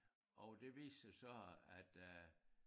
Og det viste sig så at øh